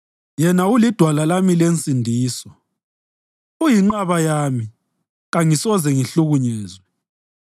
Yena yedwa ulidwala lami lensindiso; uyinqaba yami, kangisoze ngihlukunyezwe.